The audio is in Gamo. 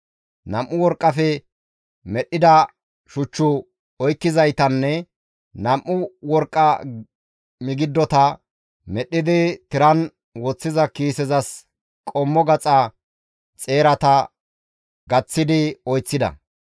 Nam7u worqqafe medhdhida shuchchu oykkizaytanne nam7u worqqa migidota medhdhidi tiran woththiza kiisezas qommo gaxa xeerata gaththi oyththida.